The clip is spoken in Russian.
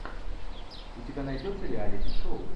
у тебя найдется реалити шоу